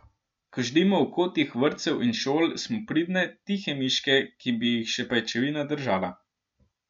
Ko ždimo v kotih vrtcev in šol, smo pridne, tihe miške, ki bi jih še pajčevina držala.